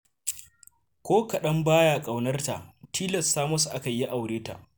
Ko kaɗan baya ƙaunarta, tilasta masa aka yi ya aure ta.